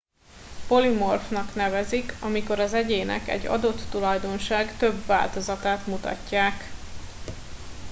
polimorfnak nevezik amikor az egyének egy adott tulajdonság több változatát mutatják